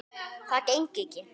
Það gengi ekki